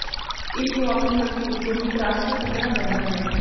ਇਸ ਨੂੰ ਆਪਣੀ ਹਸਤੀ ਵਿਚੋਂ ਹੀ ਤਰਾਸ਼ ਕੇ ਕੱਢਣਾ ਪੈਂਦਾ ਹੈ